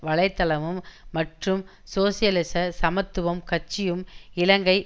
வலை தளமும் மற்றும் சோசியலிச சமத்துவம் கட்சியும் இலங்கை